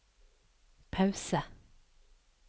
pause